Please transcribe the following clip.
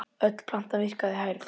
Öll plantan virkar hærð.